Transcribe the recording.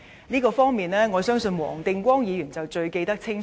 這方面，我相信黃定光議員一定最清楚。